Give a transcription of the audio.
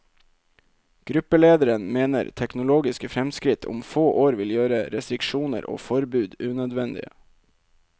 Gruppelederen mener teknologiske fremskritt om få år vil gjøre restriksjoner og forbud unødvendige.